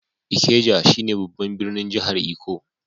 Ikeja shine babban birnin jihar lkko.